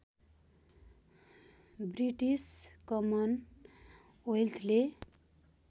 British common वेल्थले